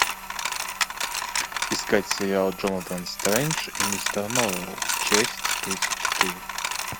искать сериал джонатан стрендж и мистер норрелл часть тридцать четыре